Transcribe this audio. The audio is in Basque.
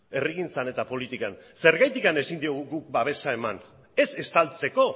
herrigintzan eta politikan zergatik ezin diogu guk babesa eman ez estaltzeko